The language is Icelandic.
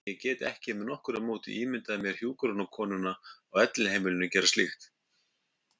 En ég get ekki með nokkru móti ímyndað mér hjúkrunarkonuna á elliheimilinu gera slíkt.